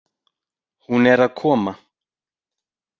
Hún er að koma.